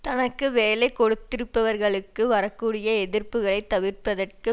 தனக்கு வேலை கொடுத்திருப்பவர்களுக்கு வரக்கூடிய எதிர்ப்புக்களை தவிர்ப்பதற்கு